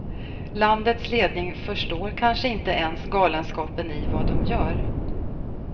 Landets ledning förstår kanske inte ens galenskapen i vad de gör.